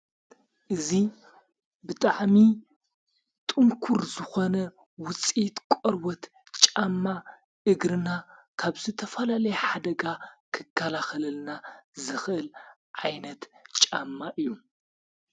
እዚ ብጥዕሚ ጥንኩር ዝኾነ ውፂት ቖርወት ጫማ እግርና ካብዝ ተፈላለየ ሓደጋ ኽካላ ኽለልና ዝኽእል ዓይነት ጫማ እዩ።